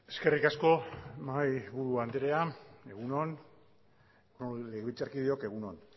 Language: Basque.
eskerrik asko mahaiburu andrea egun on legebiltzarkideok egun on